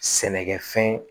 Sɛnɛkɛfɛn